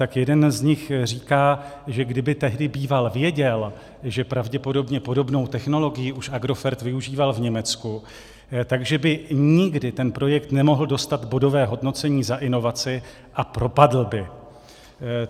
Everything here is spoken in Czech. Tak jeden z nich říká, že kdyby tehdy býval věděl, že pravděpodobně podobnou technologii už Agrofert využíval v Německu, tak by nikdy ten projekt nemohl dostat bodové hodnocení za inovaci a propadl by.